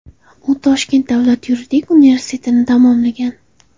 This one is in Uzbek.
U Toshkent davlat yuridik universitetini tamomlagan.